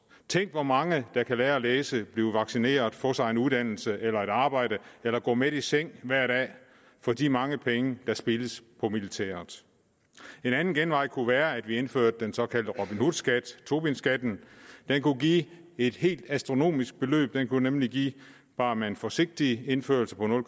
tænk hvor mange der kan lære at læse blive vaccineret få sig en uddannelse eller et arbejde eller gå mæt i seng hver dag for de mange penge der spildes på militæret en anden genvej kunne være at vi indførte den såkaldte robin hood skat tobinskatten den kunne give et helt astronomisk beløb den kunne nemlig give bare med en forsigtig indførelse på